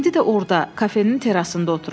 İndi də orda, kafenin terasında oturub.